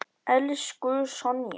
Elsku Sonja.